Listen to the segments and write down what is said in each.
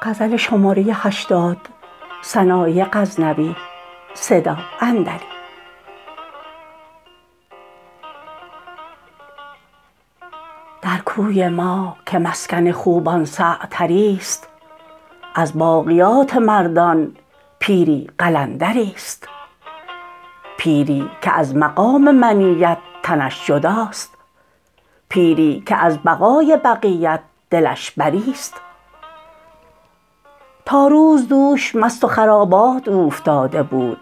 در کوی ما که مسکن خوبان سعتری ست از باقیات مردان پیری قلندری ست پیری که از مقام منیت تنش جداست پیری که از بقای بقیت دلش بری ست تا روز دوش مست خرابات اوفتاده بود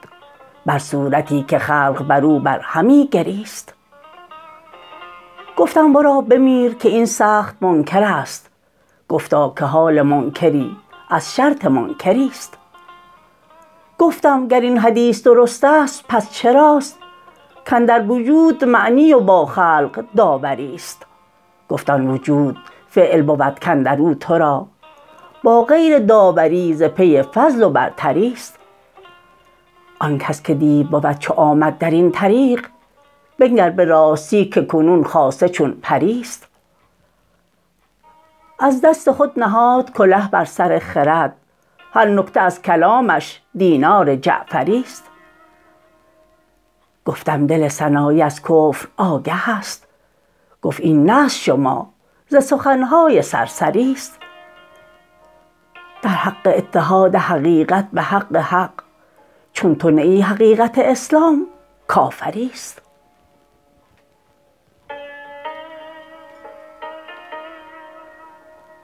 بر صورتی که خلق برو بر همی گریست گفتم ورا ببینم که این سخت منکرست گفتا که حال منکری از شرط منکری ست گفتم گر این حدیث درست است پس چراست کاندر وجود معنی با خلق داوری ست گفت آن وجود فعل بود کاندرو تو را با غیر داوری ز پی فضل و برتری ست آن کس که دیو بود چو آمد درین طریق بنگر به راستی که کنون خاصه چون پری ست دست هنر نهاد کله بر سر خرد هر تکمه از کلاهش دینار جعفری ست گفتم دل سنایی از کفر آگه است گفت این نه از شمار سخن های سرسری ست در حق اتحاد حقیقت به حق حق چون تو نه ای حقیقت اسلام کافری ست